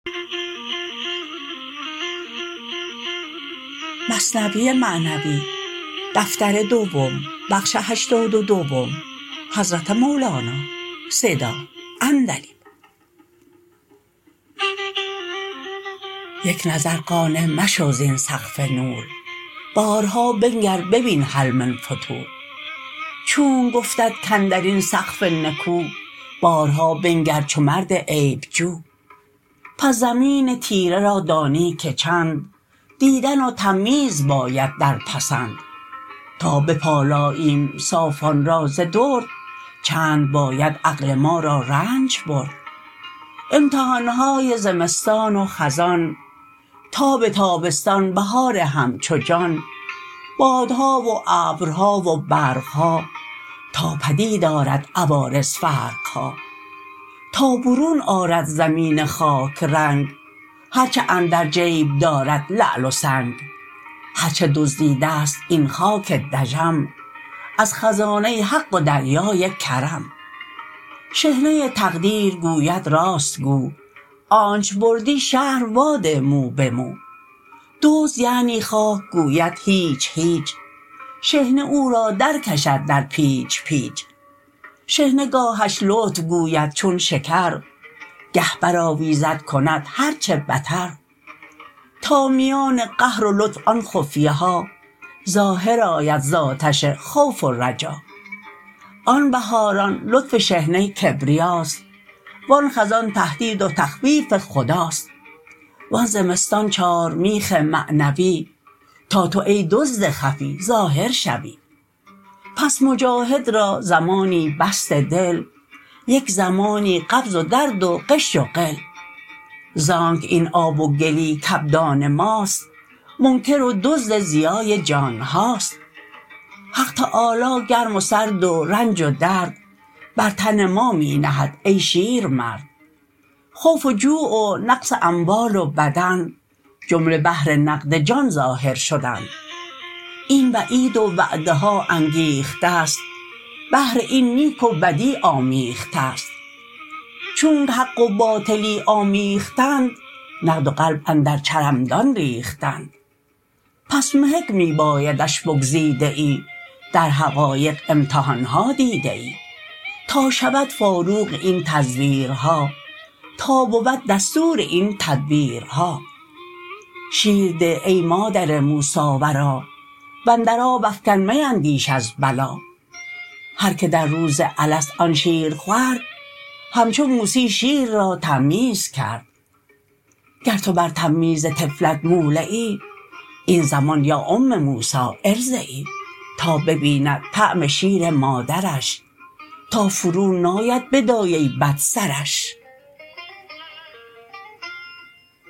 یک نظر قانع مشو زین سقف نور بارها بنگر ببین هل من فطور چونک گفتت کاندرین سقف نکو بارها بنگر چو مرد عیب جو پس زمین تیره را دانی که چند دیدن و تمییز باید در پسند تا بپالاییم صافان را ز درد چند باید عقل ما را رنج برد امتحانهای زمستان و خزان تاب تابستان بهار همچو جان بادها و ابرها و برقها تا پدید آرد عوارض فرقها تا برون آرد زمین خاک رنگ هرچه اندر جیب دارد لعل و سنگ هرچه دزدیده ست این خاک دژم از خزانه حق و دریای کرم شحنه تقدیر گوید راست گو آنچ بردی شرح وا ده مو به مو دزد یعنی خاک گوید هیچ هیچ شحنه او را در کشد در پیچ پیچ شحنه گاهش لطف گوید چون شکر گه بر آویزد کند هر چه بتر تا میان قهر و لطف آن خفیه ها ظاهر آید ز آتش خوف و رجا آن بهاران لطف شحنه کبریاست و آن خزان تهدید و تخویف خداست و آن زمستان چارمیخ معنوی تا تو ای دزد خفی ظاهر شوی پس مجاهد را زمانی بسط دل یک زمانی قبض و درد و غش و غل زانک این آب و گلی کابدان ماست منکر و دزد ضیای جانهاست حق تعالی گرم و سرد و رنج و درد بر تن ما می نهد ای شیرمرد خوف و جوع و نقص اموال و بدن جمله بهر نقد جان ظاهر شدن این وعید و وعده ها انگیختست بهر این نیک و بدی کآمیختست چونک حق و باطلی آمیختند نقد و قلب اندر حرمدان ریختند پس محک می بایدش بگزیده ای در حقایق امتحانها دیده ای تا شود فاروق این تزویرها تا بود دستور این تدبیرها شیر ده ای مادر موسی ورا واندر آب افکن میندیش از بلا هر که در روز الست آن شیر خورد همچو موسی شیر را تمییز کرد گر تو بر تمییز طفلت مولعی این زمان یا ام موسی ارضعی تا ببیند طعم شیر مادرش تا فرو ناید بدایه بد سرش